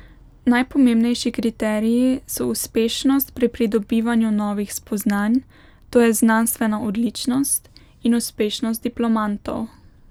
Najpomembnejši kriteriji so uspešnost pri pridobivanju novih spoznanj, to je znanstvena odličnost, in uspešnost diplomantov.